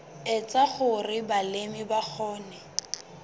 etsa hore balemi ba kgone